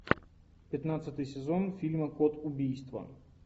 пятнадцатый сезон фильма код убийства